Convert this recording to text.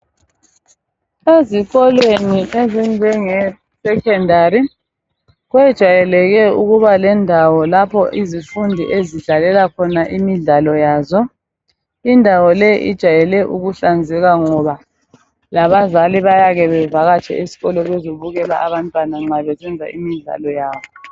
Ezikolweni ezinjenge secondary kwejayeleke ukuba lendawo lapho izifundi ezidlalela khona imidlalo yazo indawo le ijayele ukuhlanzeka ngoba labazali bayake bevakatshe esikolo bezebukela abantwana nxa besenza imidlalo yabo